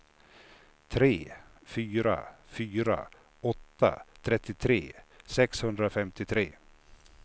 tre fyra fyra åtta trettiotre sexhundrafemtiotre